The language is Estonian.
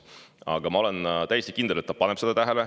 Aga ma olen täiesti kindel, et ta paneb seda tähele.